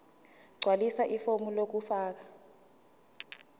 gqwalisa ifomu lokufaka